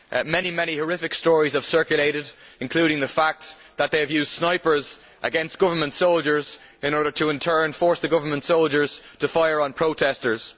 Many horrific stories have circulated, including the fact that they have used snipers against government soldiers in order to in turn force the government soldiers to fire on protestors.